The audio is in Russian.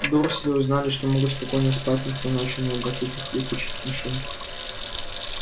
дурсли узнали что могут спокойно спать никто ночью не обратит их в летучих мышей